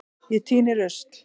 Ég tíni rusl.